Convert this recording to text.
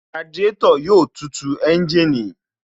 Radiátò yóò tu ẹ́ńjìnì